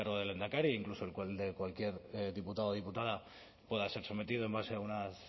incluso de cualquier diputado o diputada pueda ser sometido en base